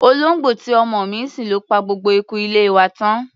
Olóńgbò tí ọmọ mi ń sìn ló pa gbogbo eku ilé wa tán.